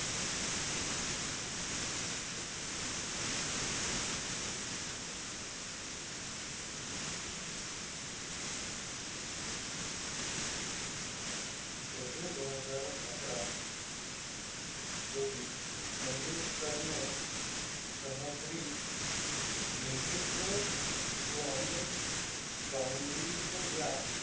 April दोन हजार अकरा रोजी मंगेशकरने सहद्री म्युझिक बियॉंड बाऊंड्रीज या,